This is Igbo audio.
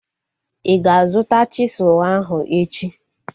Ị ga-azuta chisụl ahu echi?